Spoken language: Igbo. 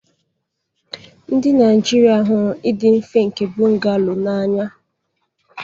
Ndị Naijiria hụrụ ịdị mfe nke bungalow n'anya.